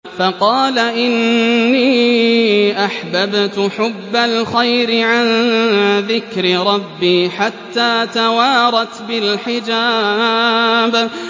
فَقَالَ إِنِّي أَحْبَبْتُ حُبَّ الْخَيْرِ عَن ذِكْرِ رَبِّي حَتَّىٰ تَوَارَتْ بِالْحِجَابِ